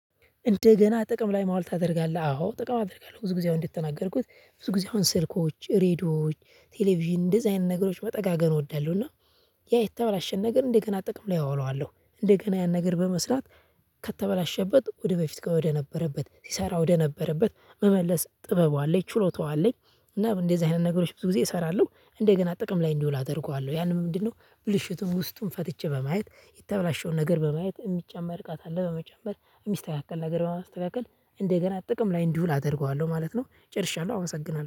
እንደገና ጥቅም ላይ ማዋል ታደርጋለህ? አዎ ጥቅም አደርጋለሁ ብዙ ጊዜ እንደተናገርኩት ብዙ ጊዜ ስልኮች ሬድዮዎች ቴሌቪዥን እንደዚህ አይነት ነገሮች መጠጋገን እወዳለሁ እወዳለሁና። ያ የተበላሸን ነገር እንደገና ጥቅም ላይ አውለዋለሁ እንደገና ያን ነገር በመስራት ከተበላሸበት ወደበፊት ወደነበረበት ሲሰራ ወደነበረበት መመለስ ጥበቡ አለኝ ችሎታው አለኝ። እና እንደዚህ አይነት ነገሮች ብዙ ጊዜ እሰራለሁ እንደገና ጥቅም ላይ እንዲውል አደርገዋለሁ ያንም ምንድነው? ብልሽቱን ውስጡን ፈትቼ በማየት የተበላሸውን ነገር በማየት የሚጨመር እቃ ካለ በመጨመር የሚስተካከል ነገር በማስተካከል እንደገና ጥቅም ላይ እንዲውል አደርገዋለሁ ማለት ነው። ጨርሻለሁ አመሰግናለሁ።